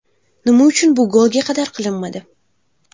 Nima uchun bu golga qadar qilinmadi?